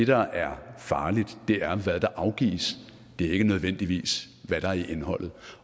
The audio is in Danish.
der er farligt er hvad der afgives det er ikke nødvendigvis hvad der er i indholdet